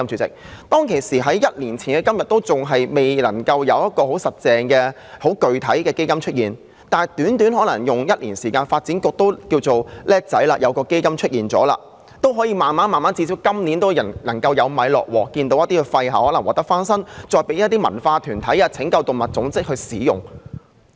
儘管在1年前仍未有很具體的安排，但短短1年之間，發展局便成立了一個基金，最低限度今年已略有所成，令一些廢置校舍得以翻新，以供一些文化團體或拯救動物組織使用。